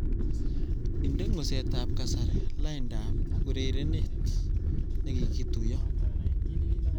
Indene ngusetab kasari laindab urerenet negigituiyo